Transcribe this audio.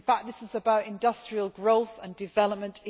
This is about industrial growth and development.